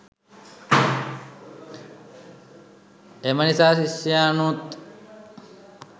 එම නිසා ශිෂ්‍යයනුත්